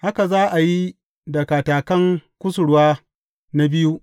Haka za a yi da katakan kusurwa na biyu.